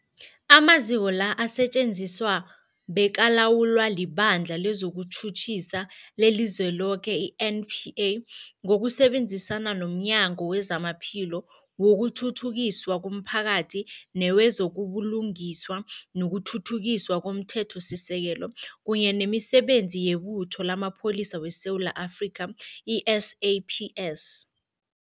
Amaziko la asetjenziswa bekalawulwa liBandla lezokuTjhutjhisa leliZweloke, i-NPA, ngokusebenzisana nomnyango wezamaPhilo, wokuthuthukiswa komphakathi newezo buLungiswa nokuThuthukiswa komThethosisekelo, kunye nemiSebenzi yeButho lamaPholisa weSewula Afrika, i-SAPS.